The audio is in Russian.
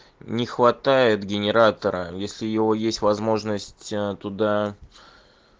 не хватает генератора если его есть возможность тудаа